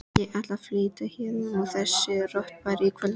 Ég ætla að flytja héðan úr þessu rottubæli í kvöld.